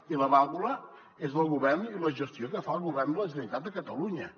i la vàlvula és del govern i la gestió que fa el govern de la generalitat de catalunya